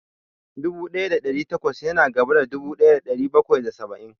Dubu ɗaya da ɗari takwas ya na gaba da dubu ɗaya da ɗari bakwai da saba'in